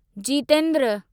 Jitendra